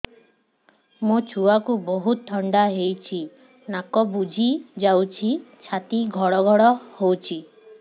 ମୋ ଛୁଆକୁ ବହୁତ ଥଣ୍ଡା ହେଇଚି ନାକ ବୁଜି ଯାଉଛି ଛାତି ଘଡ ଘଡ ହଉଚି